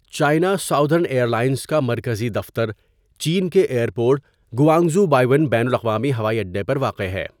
China Southern Airlines کا مرکزی دفتر چین کے ائیر پورٹ، گوانگژو بایئون بین الاقوامی ہوائی اڈا پر واقع ہے.